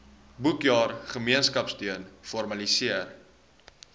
boekjaar gemeenskapsteun formaliseer